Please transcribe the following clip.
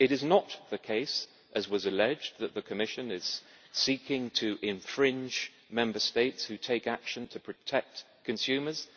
It is not the case, as was alleged, that the Commission is seeking to infringe Member States who take action to protect consumers.